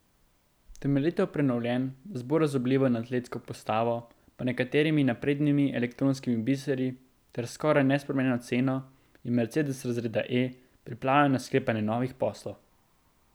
Temeljito prenovljen, z bolj razburljivo in atletsko postavo, pa nekaterimi naprednimi elektronskimi biseri ter s skoraj nespremenjeno ceno je mercedes razreda E pripravljen na sklepanje novih poslov.